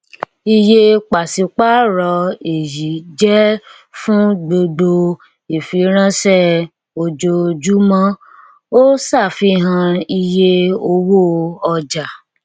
iye pàṣípàrọ èyí jẹ fún gbogbo ìfiránṣẹ ojoojúmọ ó ṣàfihàn iye owó ọjà